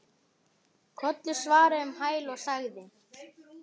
Kollur svaraði um hæl og sagði